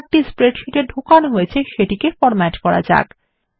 যে চার্ট টি স্প্রেডশীটে ঢোকানো হয়েছে সেটিকে ফরম্যাট করা যাক